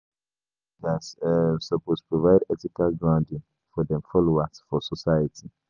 Religious leaders um suppose provide ethical grounding for dem followers for society.